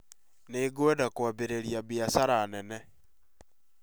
Nĩngwenda kwambĩrĩria biacara nene